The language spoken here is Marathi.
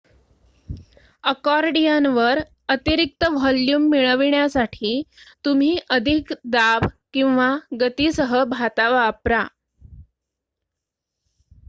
अकॉर्डियनवर अतिरिक्त व्हॉल्यूम मिळविण्यासाठी तुम्ही अधिक दाब किंवा गतीसह भाता वापरा